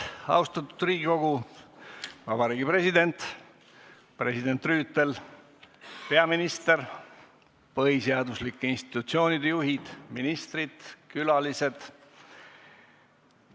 Austatud Riigikogu, Vabariigi President, president Rüütel, peaminister, põhiseaduslike institutsioonide juhid, ministrid ja külalised!